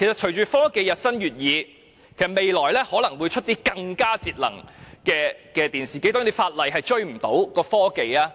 隨着科技日新月異，未來可能會推出更節能的電視機，法例根本追不上科技。